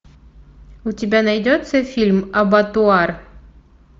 у тебя найдется фильм абатуар